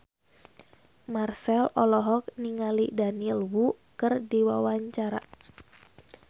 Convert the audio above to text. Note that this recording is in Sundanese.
Marchell olohok ningali Daniel Wu keur diwawancara